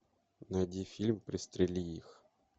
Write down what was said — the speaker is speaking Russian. найди фильм пристрели их